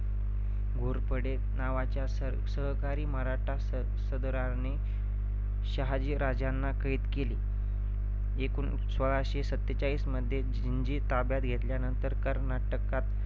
घोरपडे नावाच्या सहा~ सहकारी मराठा सद~ सरदाराने शहाजी राजांना कैद केले. एकोणिस सोळाशे सत्तेचाळीस मध्ये जिंजी ताब्यात घेतल्यानंतर कर्नाटकात